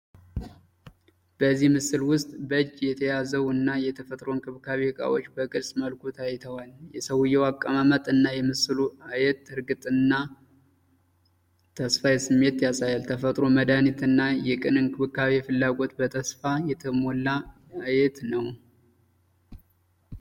በዚህ ምስል ውስጥ በእጅ የተያዘው እና የተፈጥሮ እንክብካቤ እቃዎች በግልጽ መልኩ ታይተዋል። የሰውዬው አቀማመጥ እና የምስሉ አየት የእርግጥና እና የተስፋ ስሜት ያሳያል። የተፈጥሮ መድሃኒት እና የቅን እንክብካቤ ፍላጎት በተስፋ የተሞላ አየት ነው።